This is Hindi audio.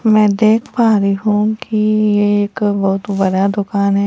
मैं देख पा रही हूं कि ये एक बहुत बड़ा दुकान है।